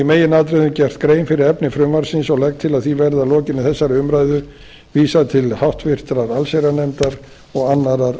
meginatriðum gert grein fyrir efni frumvarpsins og legg til að því verði að lokinni þessari umræðu vísað til háttvirtrar allsherjarnefndar og annarrar